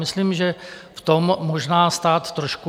Myslím, že v tom možná stát trošku...